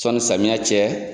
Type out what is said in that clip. Sɔnni samiya cɛ.